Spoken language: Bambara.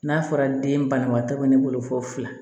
N'a fɔra den banabaatɔ bɛ ne bolo fo fila